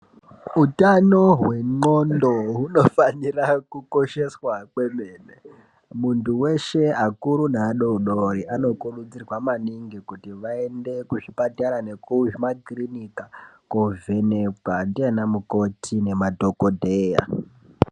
Hutano hwendxondo hunofanira kukosheswa kwemene. Muntu weshe akuru nadodori anokurudzirwa maningi kuti vaende kuzvipatara nekuzvimakirinika kovhenekwa ndiana mukoti nemadhogodheya.